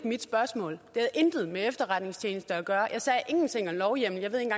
mit spørgsmål det intet med efterretningstjenester at gøre jeg sagde ingenting om lovhjemmel jeg ved ikke